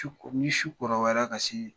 Su ni su kɔrɔbayara ke